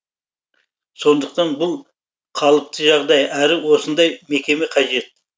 сондықтан бұл қалыпты жағдай әрі осындай мекеме қажет